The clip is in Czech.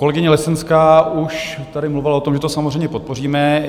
Kolegyně Lesenská už tady mluvila o tom, že to samozřejmě podpoříme.